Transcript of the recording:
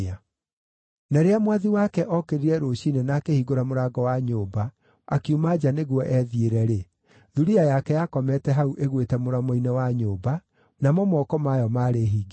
Na rĩrĩa mwathi wake ookĩrire rũciinĩ na akĩhingũra mũrango wa nyũmba akiuma nja nĩguo ethiĩre-rĩ, thuriya yake yakomete hau ĩgwĩte mũromo-inĩ wa nyũmba, namo moko mayo maarĩ hingĩro-inĩ.